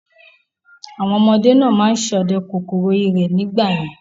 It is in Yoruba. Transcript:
Àwọn ọmọdé náà ma ń sọdẹ kòkòrò ìrẹ̀ nígbà yẹn